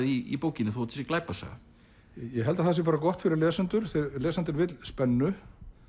í bókinni þó þetta sé glæpasaga ég held að það sé gott fyrir lesendur lesandinn vill spennu